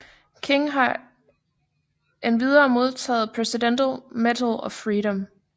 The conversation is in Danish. King har endvidere modtaget Presidential Medal of Freedom